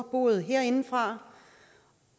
både herindefra